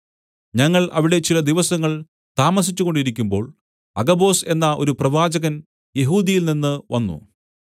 ഞങ്ങൾ അവിടെ ചില ദിവസങ്ങൾ താമസിച്ചുകൊണ്ടിരിക്കുമ്പോൾ അഗബൊസ് എന്ന ഒരു പ്രവാചകൻ യെഹൂദ്യയിൽനിന്നു വന്നു